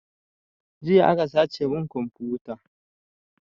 Jiya aka sace mun komfuta